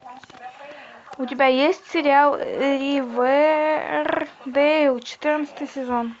у тебя есть сериал ривердейл четырнадцатый сезон